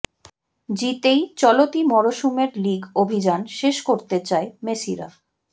জিতেই চলতি মরশুমের লিগ অভিযান শেষ করতে চায় মেসিরা